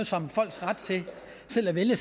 som folks ret til selv at vælge